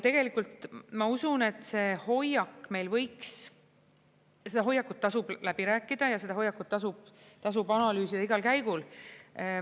Tegelikult ma usun, et see hoiak meil võiks, seda hoiakut tasub läbi rääkida ja seda hoiakut tasub analüüsida igal käigul.